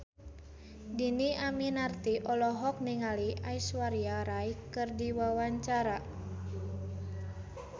Dhini Aminarti olohok ningali Aishwarya Rai keur diwawancara